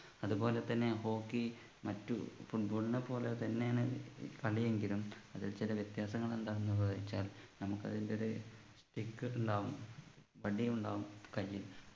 അതുപോലെതന്നെ hockey മറ്റു football നെ പോലെ തന്നെയാണ് ഏർ കളിയെങ്കിലും അതിൽ ചില വ്യത്യാസങ്ങൾ എന്താണ് ന്നു വെച്ചാൽ നമുക്ക് അതിൻ്റെ ഒരു Stick ഉണ്ടാകും വടി ഉണ്ടാകും കയ്യിൽ